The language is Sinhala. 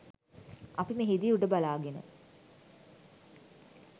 අප මෙහිදී උඩ බලාගෙන